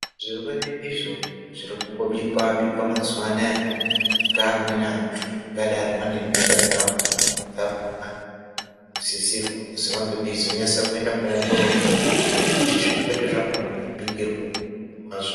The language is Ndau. Zvirwere izvo zviri kungobikwa-bikwa mazuwa anaya ngeamweni anhu angadai ane nhenda dzawo dzakhona vanosisirwa kuzi vange veizonyase koongororwa kuti zvirwere zvakhona zvibikirwewo mutomb wazvo.